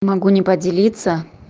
могу не поделиться